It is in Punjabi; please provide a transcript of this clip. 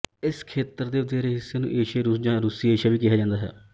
ਇਸ ਖੇਤਰ ਦੇ ਵਧੇਰੇ ਹਿੱਸੇ ਨੂੰ ਏਸ਼ੀਆਈ ਰੂਸ ਜਾਂ ਰੂਸੀ ਏਸ਼ੀਆ ਵੀ ਕਿਹਾ ਜਾਂਦਾ ਹੈ